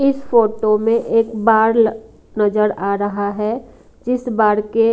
इस फोटो में एक बाड़ नजर आ रहा है इस बाड़ के--